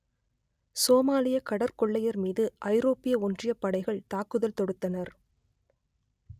சோமாலிய கடற்கொள்ளையர் மீது ஐரோப்பிய ஒன்றியப் படைகள் தாக்குதல் தொடுத்தனர்